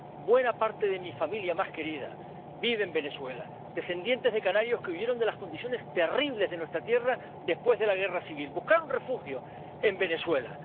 Buena parte de mi familia más querida vive en Venezuela descendientes de canarios que huyeron de las condiciones terribles de nuestra tierra después de la Guerra Civil buscaron refugio en Venezuela.